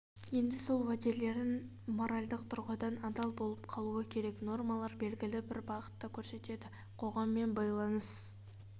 енді сол уәделеріне моральдық тұрғыдан адал болып қалуы керек нормалар белгілі бір бағытты көрсетеді қоғаммен байланыс